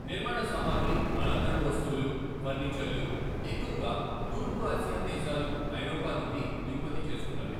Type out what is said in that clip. నిర్మాణ సామగ్రి, అలంకరణ వస్తువులు, ఫర్నిచర్లు ఎక్కువగా తూర్పు ఆసియా దేశాలు, ఐరోపా నుండి దిగుమతి చేసుకున్నవే.